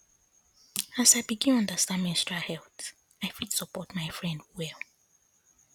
as i begin understand menstrual health i fit support my friend well